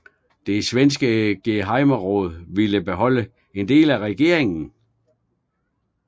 Det svenske gehejmeråd ville beholde en del af regeringen